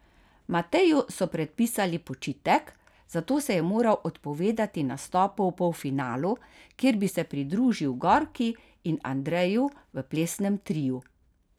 Mateju so predpisali počitek, zato se je moral odpovedati nastopu v polfinalu, kjer bi se pridružil Gorki in Andreju v plesnem triu.